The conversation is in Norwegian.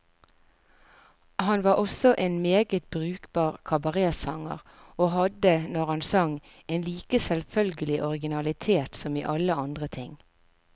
Han var også en meget brukbar kabaretsanger, og hadde, når han sang, en like selvfølgelig originalitet som i alle andre ting.